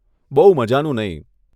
બહુ મઝાનું નહીં.